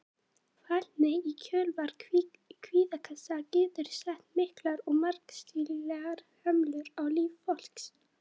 Fælni í kjölfar kvíðakasta getur sett miklar og margvíslegar hömlur á líf fólks.